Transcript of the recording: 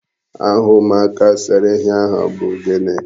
Aha ụmụaka sere ihe ahụ bụ gịnị?